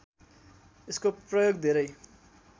यसको प्रयोग धेरै